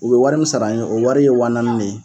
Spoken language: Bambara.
U be wari min sar'an ye o wari ye waa naani ne ye